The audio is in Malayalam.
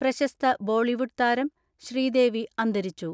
പ്രശസ്ത ബോളിവുഡ് താരം ശ്രീദേവി അന്തരിച്ചു.